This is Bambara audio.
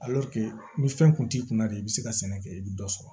ni fɛn kun t'i kunna de i bɛ se ka sɛnɛ kɛ i bɛ dɔ sɔrɔ